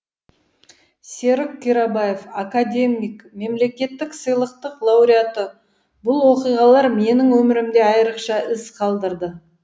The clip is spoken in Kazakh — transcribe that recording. серік қирабаев академик мемлекеттік сыйлықтың лауреаты бұл оқиғалар менің өмірімде айрықша із қалдырды